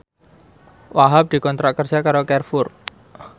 Wahhab dikontrak kerja karo Carrefour